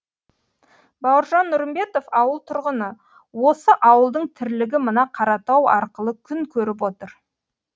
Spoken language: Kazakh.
бауыржан нұрымбетов ауыл тұрғыны осы ауылдың тірлігі мына қаратау арқылы күн көріп отыр